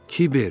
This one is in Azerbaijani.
Kiber!